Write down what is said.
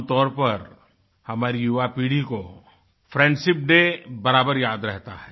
आमतौर पर हमारी युवापीढ़ी को फ्रेंडशिप डे बराबर याद रहता है